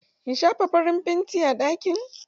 In shafa farin fanti a ɗakin?